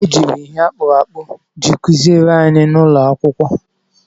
E jiri ihe akpụrụ akpụ ji kụziere anyị n'ụlọ akwụkwọ.